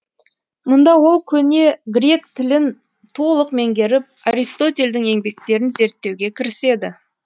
мұнда ол көне грек тілін толық меңгеріп аристотельдің еңбектерін зерттеуге кіріседі